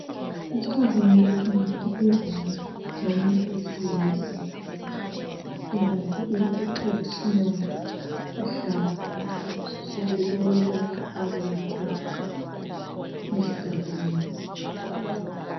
esithombeni lesi ngibona izandla zomuntu wesilisa ebambe i traditional hlamvu lokulapha abantu esigabeni